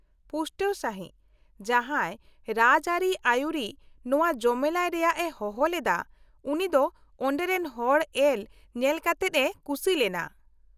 -ᱯᱩᱥᱴᱟᱹᱣ ᱥᱟᱹᱦᱤᱡ, ᱡᱟᱦᱟᱸᱭ ᱨᱟᱡᱽᱼᱟᱹᱨᱤ ᱟᱹᱭᱩᱨᱤᱡ ᱱᱚᱶᱟ ᱡᱚᱢᱮᱞᱟᱭ ᱨᱮᱭᱟᱜ ᱮ ᱦᱚᱦᱚᱞᱮᱫᱟ ᱩᱱᱤ ᱫᱚ ᱚᱸᱰᱮ ᱨᱮᱱ ᱦᱚᱲ ᱮᱞ ᱧᱮᱞᱠᱟᱛᱮᱫ ᱮ ᱠᱩᱥᱤᱞᱮᱱᱟ ᱾